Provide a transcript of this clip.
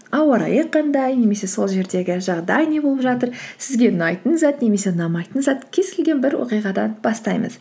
ауа райы қандай немесе сол жердегі жағдай не болып жатыр сізге ұнайтын зат немесе ұнамайтын зат кез келген бір оқиғадан бастаймыз